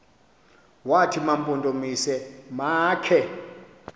wathi mampondomise makhe